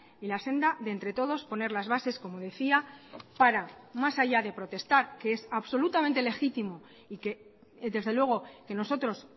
y la senda de entre todos poner las bases como decía para más haya de protestar que es absolutamente legítimo y que desde luego que nosotros